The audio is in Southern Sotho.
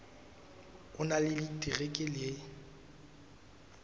o na le diterekere le